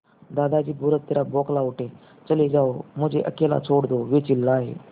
दादाजी बुरी तरह बौखला उठे चले जाओ मुझे अकेला छोड़ दो वे चिल्लाए